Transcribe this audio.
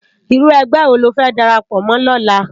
Irú ègbè wó ló fè dàrápò mò lòlá?